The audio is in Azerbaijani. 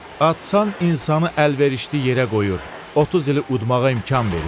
Atsan insanı əlverişli yerə qoyur, 30 ili udmağa imkan verir?